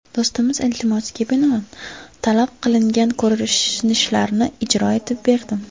Do‘stimiz iltimosiga binoan talab qilingan ko‘rinishlarni ijro etib berdim.